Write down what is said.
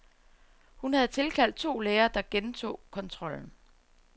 Hun havde tilkaldt to læger, der gentog kontrollen.